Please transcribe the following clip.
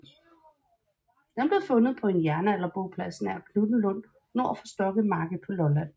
Den blev fundet på en jernalderboplads nær Knuthenlund nord for Stokkemarke på Lolland